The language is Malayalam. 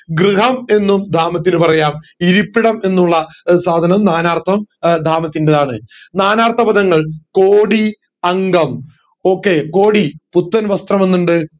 ഗൃഹം എന്നും ധാമത്തിനു പറയാം ഇരിപ്പിടം എന്നുള്ള സാധനം നാനാർഥം ധാമത്തിൻറെയാണ് നാനാർത്ഥ പാദങ്ങൾ കോടി അംഗം okay കോടി പുത്തൻ വസ്ത്രം എന്ന്ണ്ട്